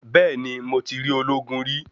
Bẹ́ẹ̀ni, mo ti rí ológun rí.